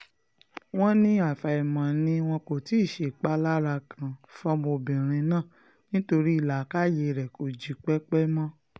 wọ́n ní àfàìmọ̀ ni wọn kò ti ṣèpalára kan fọ́mọbìnrin náà ni torí làákàyè ẹ̀ kò jípẹ́pẹ́ mọ́